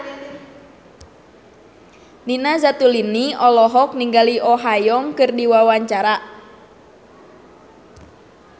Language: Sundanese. Nina Zatulini olohok ningali Oh Ha Young keur diwawancara